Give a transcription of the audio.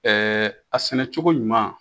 a sɛnɛ cogo ɲuman.